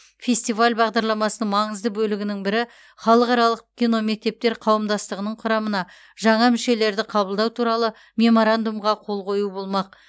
фестиваль бағдарламасының маңызды бөлігінің бірі халықаралық киномектептер қауымдастығының құрамына жаңа мүшелерді қабылдау туралы меморандумға қол қою болмақ